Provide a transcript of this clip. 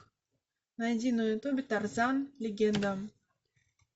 найди на ютубе тарзан легенда